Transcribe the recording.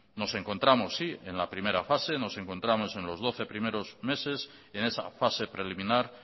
nos encontramos en la primera fase sí nos encontramos en los doce primeros meses en esa fase preliminar